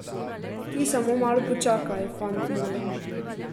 Ti samo malo počakaj, fant moj.